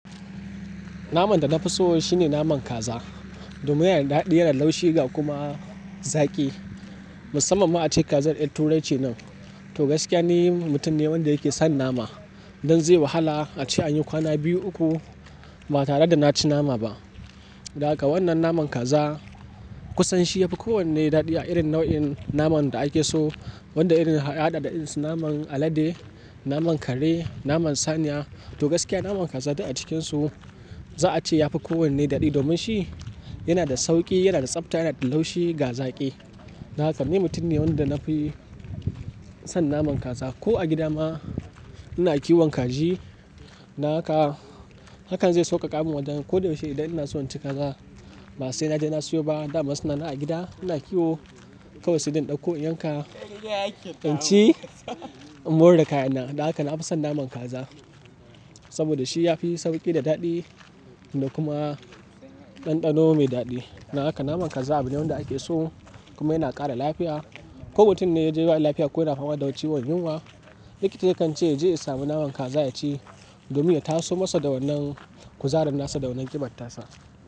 Naman da na fi so shine naman kaza domin yana da daɗi, yana da laushi ga kuma zaki. Musamman ma a ce kazar erturai ce nan. To gaskiya ni mutum ne wanda yake son nama. Dan zai wahala a ce an yi kwana biyu uku ba tare da na ci nama ba. Don haka wannan naman kaza kusan shi yafi kowanne daɗi a irin nau'in naman da ake so. Wanda irin a hada da irinsu naman alade, naman kare, naman saniya. To gaskiya naman kaza dai a cikinsu za'a ce yafi kowanne daɗi domin shi yana da sauki, yana da tsafta, yana da laushi ga zaƙi. Na haka ni mutum ne wanda na fi son naman kaza. Ko a gida ma ina kiwon kaji. Don haka, hakan zai sau ka ka min wanda. Ko da yaushe idan ina so in ci kaza ba sai na je na siyo ba. Dama suna nan a gida, ina kiwo. Kawai sai dai ɗauko in yanka, in ci, in mori da kayan na. Na haka na fi son naman kaza saboda shi ya fi sauƙi da daɗi da kuma ɗanɗano mai daɗi. Don haka naman kaza abu ne wanda ake so kuma yana ƙara lafiya. Ko mutum ne ya ji yana lafiya ko yana fama da wata ciwon yunwa, likitoci kan ce ya je ya sami naman kaza ya ci domin ya taso masa da wannan kuzarin nasa, da wannan ƙibar ta sa.